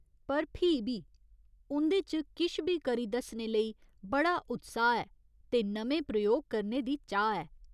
पर फ्ही बी उं'दे च किश बी करी दस्सने लेई बड़ा उत्साह् ऐ ते नमें प्रयोग करने दी चाह् ऐ।